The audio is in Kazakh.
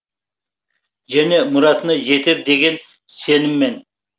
және мұратына жетер деген сеніммен